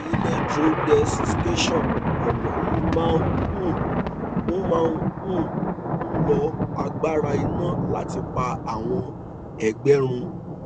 electrodesiccation ọnà yìí máa um ń máa um ń lo agbára iná láti pa àwọn ẹgbẹ run